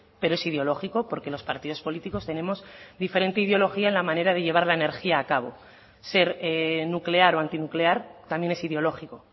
pero es ideológico porque los partidos políticos tenemos diferente ideología en la manera de llevar la energía a cabo ser nuclear o antinuclear también es ideológico